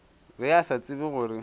ge a sa tsebe gore